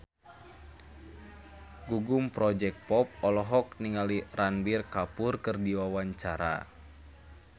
Gugum Project Pop olohok ningali Ranbir Kapoor keur diwawancara